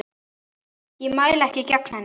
Ég mæli ekki gegn henni.